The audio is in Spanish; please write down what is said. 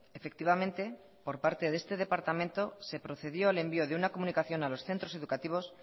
efectivamente por parte de este departamento se procedió al envío de una comunicación a los centros educativos